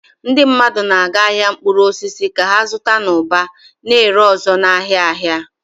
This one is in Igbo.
Ndị mmadụ na-aga ahịa mkpụrụ osisi ka ha zụta n'ụba, na-ere ọzọ n'ahịa ahịa.